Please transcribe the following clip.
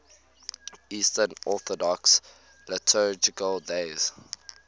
eastern orthodox liturgical days